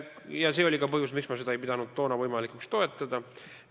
Ja see oli ka põhjus, miks ma ei pidanud seda toona võimalikuks toetada.